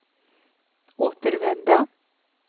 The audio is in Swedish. återvända